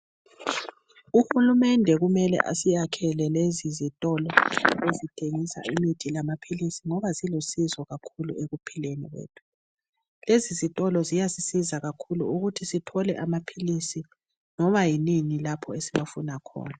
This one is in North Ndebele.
Uhulumende kumele asiyakhele lezizitolo ezithengisa imithi lamaphilizi ngoba zilusizo kakhulu ekuphileni kwethu. Lezizitolo ziyasisiza kakhulu ukuthi sithole amaphilizi loba yini lapho esiwafuna khona.